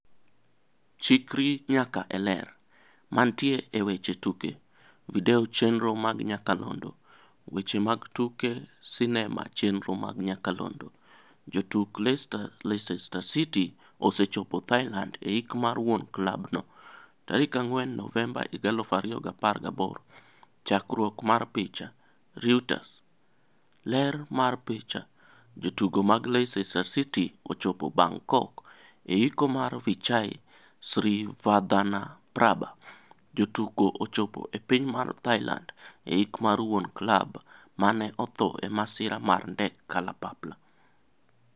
Chikri nyaka e Ler. Mantie e weche tuke. Video chenro mag nyakalondo. Weche mag tuke sinema chenro mag nyakalondo Jotuk Leicester City osechopo Thailand eik mar wuon klab no. 4 Novemba 2018 Chakruok mar picha, Reuters. ler mar picha, Jotugo mag Leicester City ochopo Bangkok eiko mar Vichai Srivaddhanaprabha. Jotukochopo e piny mar Thailand eikmar wuon klab mane otho e masira mar ndek kalapapla.